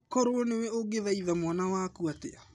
Korũo nĩwe ũngĩthaitha mwana waku atĩa?